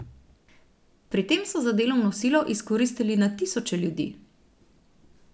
Pri tem so za delovno silo izkoristili na tisoče ljudi.